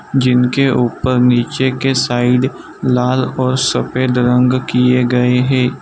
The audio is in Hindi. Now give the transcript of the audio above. जिनके ऊपर नीचे के साइड लाल और सफेद रंग किए गए हैं।